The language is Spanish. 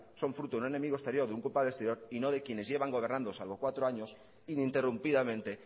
son fruto de un enemigo exterior de un culpable exterior y no de quienes llevan gobernando salvo cuatro años ininterrumpidamente